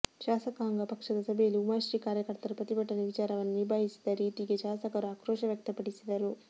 ಶಾಸಕಾಂಗ ಪಕ್ಷದ ಸಭೆಯಲ್ಲಿ ಉಮಾಶ್ರೀ ಕಾರ್ಯಕರ್ತರ ಪ್ರತಿಭಟನೆ ವಿಚಾರವನ್ನು ನಿಭಾಯಿಸಿದ ರೀತಿಗೆ ಶಾಸಕರು ಆಕ್ರೋಶ ವ್ಯಕ್ತಪಡಿಸಿದರು